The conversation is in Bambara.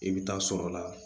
I bɛ taa sɔrɔ la